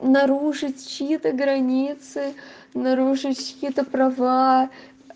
нарушить чьи-то границы нарушить чьи-то права